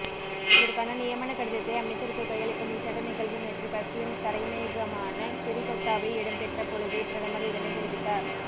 இதற்கான நியமனக் கடிதத்தை அமைச்சருக்கு கையளிக்கும் விசேட நிகழ்வு நேற்று கட்சியின் தரைமையகமான சிறிகொத்தவில் இடம்பெற்ற பொழுதே பிரதமர் இதனைத்தெரிவித்தார்